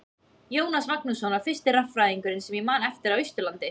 Jónas Magnússon var fyrsti raffræðingurinn sem ég man eftir á Austurlandi.